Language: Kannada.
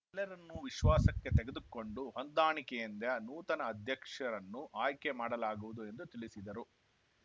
ಎಲ್ಲರನ್ನು ವಿಶ್ವಾಸಕ್ಕೆ ತೆಗೆದುಕೊಂಡು ಹೊಂದಾಣಿಕೆಯಿಂದ ನೂತನ ಅಧ್ಯಕ್ಷರನ್ನು ಆಯ್ಕೆ ಮಾಡಲಾಗುವುದು ಎಂದು ತಿಳಿಸಿದರು